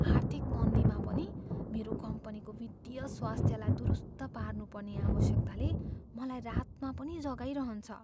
आर्थिक मन्दीमा पनि मेरो कम्पनीको वित्तीय स्वास्थ्यलाई दुरुस्त पार्नुपर्ने आवश्यकताले मलाई रातमा पनि जगाइरहन्छ।